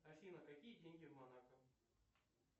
афина какие деньги в монако